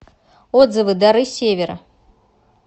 отзывы дары севера